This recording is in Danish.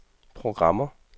programmer